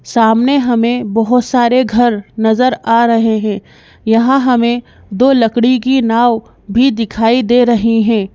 सामने हमें बहुत सारे घर नजर आ रहे हैं यहां हमें दो लकड़ी की नाव भी दिखाई दे रही हैं।